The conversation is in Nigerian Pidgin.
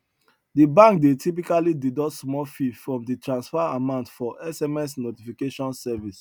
de bank dey typically deduct small fee from de transfer amount for sms notification service